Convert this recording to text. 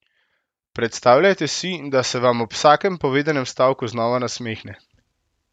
Predstavljajte si, da se vam ob vsakem povedanem stavku znova nasmehne.